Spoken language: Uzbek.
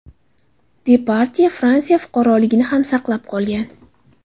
Depardye Fransiya fuqaroligini ham saqlab qolgan.